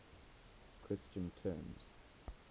christian terms